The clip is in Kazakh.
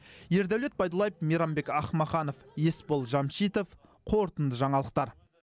ердәулет байдуллаев мейрамбек ахмаханов есбол жамшитов қорытынды жаңалықтар